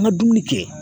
An ka dumuni kɛ